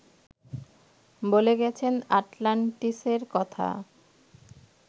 বলে গেছেন আটলান্টিসের কথা